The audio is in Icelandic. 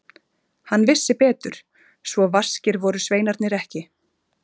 Hann vissi betur, svo vaskir voru sveinarnir ekki.